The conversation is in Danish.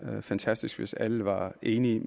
fantastisk hvis alle var enige